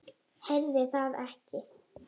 Heyrði það ekki.